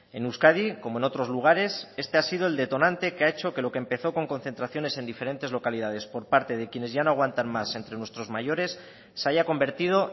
en euskadi como en otros lugares este ha sido el detonante que ha hecho que lo que empezó con concentraciones en diferentes localidades por parte de quienes ya no aguantan más entre nuestros mayores se haya convertido